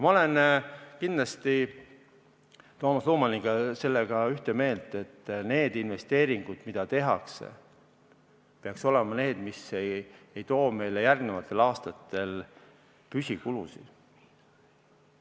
Ma olen kindlasti Toomas Lumaniga selles ühte meelt, et need investeeringud, mida tehakse, peaksid olema need, mis ei too meile järgnevatel aastatel kaasa püsikulusid.